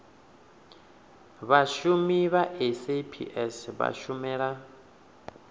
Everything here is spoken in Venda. vhashumi vha saps vha shumela